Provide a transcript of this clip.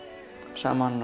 saman